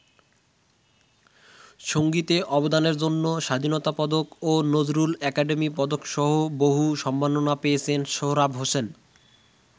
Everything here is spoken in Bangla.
সঙ্গীতে অবদানের জন্য স্বাধীনতা পদক ও নজরুল একাডেমী পদকসহ বহু সম্মাননা পেয়েছেন সোহরাব হোসেন।